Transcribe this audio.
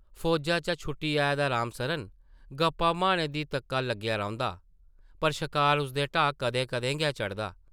फौजा चा छुट्टी आए दा राम सरन गप्पां मारने दी तक्का लग्गेआ रौंह्दा, पर शकार उसदे ढाऽ कदें-कदें गै चढ़दा ।